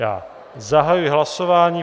Já zahajuji hlasování.